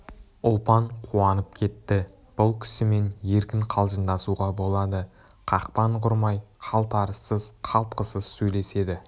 ұлпан қуанып кетті бұл кісімен еркін қалжыңдасуға болады қақпан құрмай қалтарыссыз қалтқысыз сөйлеседі